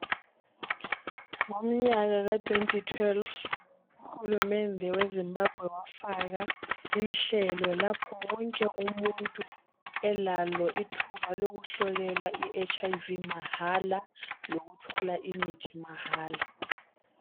Ngomnyaka ka2012 uhulumende weZimbabwe wafaka inhlelo lapho wonke umuntu elalo ithuba lokuhlolelwa iHIV mahala lokuthola imithi mahala.